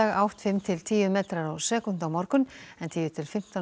átt fimm til tíu metrar á sekúndu á morgun en tíu til fimmtán